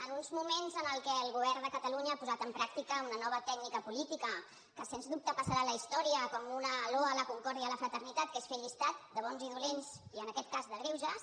en uns moments en què el govern de catalunya ha posat en pràctica una nova tècnica política que sens dubte passarà a la història com una loa a la concòrdia i a la fraternitat que és fer llistat de bons i dolents i en aquest cas de greuges